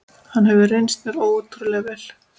Hann hefur reynst mér ótrúlega vel.